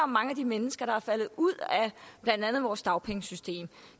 mange af de mennesker der er faldet ud af blandt andet vores dagpengesystem